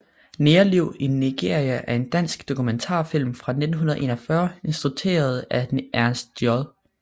Negerliv i Nigeria er en dansk dokumentarfilm fra 1941 instrueret af Ernst J